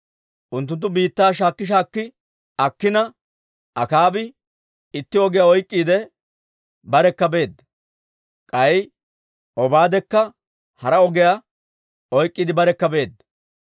Unttunttu biittaa shaakki shaakki akkina, Akaabi itti ogiyaa oyk'k'iide barekka beedda; k'ay Obaadekka hara ogiyaa oyk'k'iide barekka beedda.